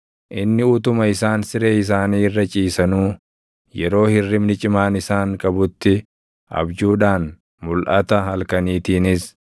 Inni utuma isaan siree isaanii irra ciisanuu, yeroo hirribni cimaan isaan qabutti, abjuudhaan, mulʼata halkaniitiinis,